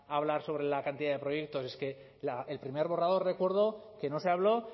hablar sobre la cantidad de proyectos es que el primer borrador recuerdo que no se habló